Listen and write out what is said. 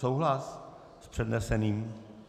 Souhlas s předneseným?